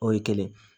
O ye kelen